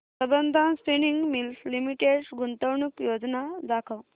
Sambandam spinning mills limited गुंतवणूक योजना दाखव